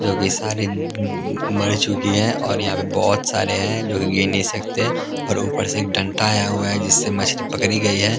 जो कि सारी मम मर चुकी है और यहाँ पे बहुत सारे हैं जो कि गिर नहीं सकते और ऊपर से एक डंटा आया हुआ है जिससे मछली पकड़ी गई है ।